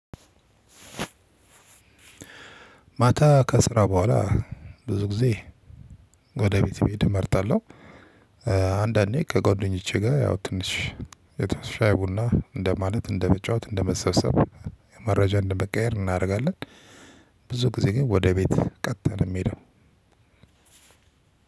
ማታ ከስራ በኋላ ብዙ ጊዜ ወደ ቤት መሄድ እመርጣለሁ። አንዳንዴ ከጓደኞቼ ጋር ያው ትንሽ የተሻ ሻይ ቡና እንደ ማለት እንደ መጫወት እንደ መሰብሰብ መረጃ እንደ መቀያየር እናደርጋለን። ብዙ ጊዜ ግን ወደ ቤት ቀጥታ ነው ምሄደው።